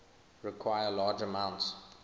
require large amounts